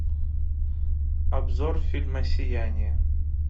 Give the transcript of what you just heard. обзор фильма сияние